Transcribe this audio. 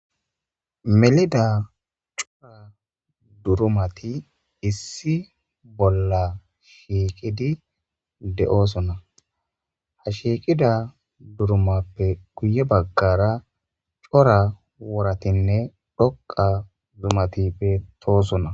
melida cora durumati issi bolla shiiqidi de7oosona ha shiiqida durumappe kuye baggara cora woratinne dhoqa zumatippe toosona